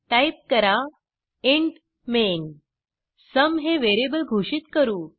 type करा int main sum हे variable घोषित करू